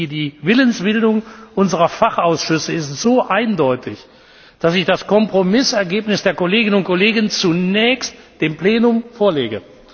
Die Willensbildung unserer Fachausschüsse ist so eindeutig, dass ich das Kompromissergebnis der Kolleginnen und Kollegen zunächst dem Plenum vorlege.